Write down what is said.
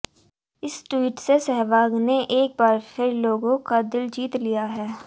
इस ट्वीट से सहवाग ने एक बार फिर लोगों का दिल जीत लिया है